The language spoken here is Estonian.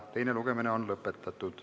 Teine lugemine on lõppenud.